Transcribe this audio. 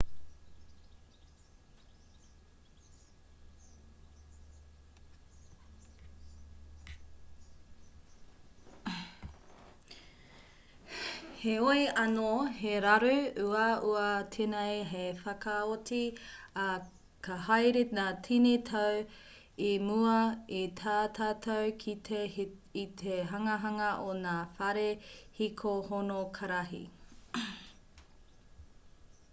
heoi anō he raru uaua tēnei hei whakaoti ā ka haere ngā tini tau i mua i tā tātou kite i te hanganga o ngā whare hiko honokarihi